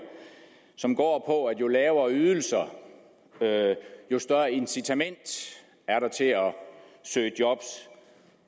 som går på at jo lavere ydelser jo større incitament er der til at søge job